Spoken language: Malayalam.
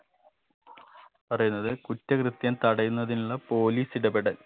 പറയുന്നത് കുറ്റകൃത്യം തടയുന്നതിനുള്ള police ഇടപെടൽ